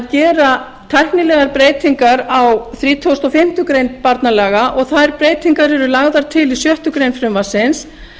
gera tæknilegar breytingar á þrítugasta og fimmtu grein barnalaga og þær breytingar eru lagðar til í sjöttu greinar frumvarpsins